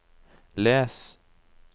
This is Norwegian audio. les